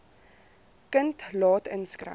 kind laat inskryf